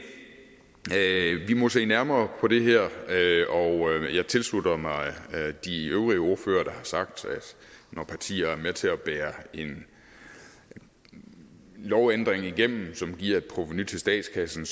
vi må se nærmere på det her jeg tilslutter mig de øvrige ordførere der har sagt at når partier er med til at bære en lovændring igennem som giver et provenu til statskassen